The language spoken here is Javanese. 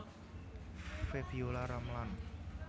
Febiolla Ramlan